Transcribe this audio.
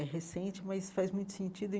É recente, mas faz muito sentido e.